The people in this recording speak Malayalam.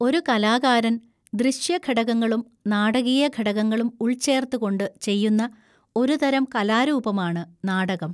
ഒരു കലാകാരൻ ദൃശ്യ ഘടകങ്ങളും നാടകീയ ഘടകങ്ങളും ഉൾച്ചേർത്ത് കൊണ്ട് ചെയ്യുന്ന ഒരു തരം കലാരൂപമാണ് നാടകം.